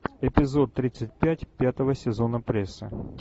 эпизод тридцать пять пятого сезона пресса